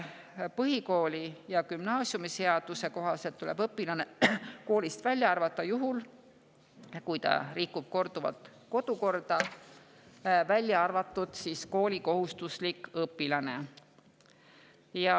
Põhikooli‑ ja gümnaasiumiseaduse kohaselt tuleb õpilane koolist välja arvata juhul, kui ta rikub korduvalt kodukorda, välja arvatud koolikohustuslik õpilane.